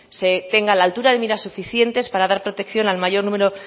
se tenga la altura de mira suficiente para dar protección al mayor número